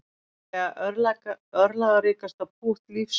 Líklega örlagaríkasta pútt lífs míns